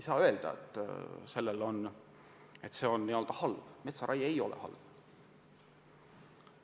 See ei ole halb.